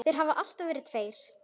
Þeir hafa alltaf verið tveir.